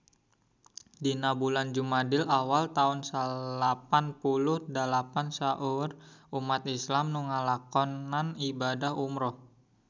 Dina bulan Jumadil awal taun salapan puluh dalapan seueur umat islam nu ngalakonan ibadah umrah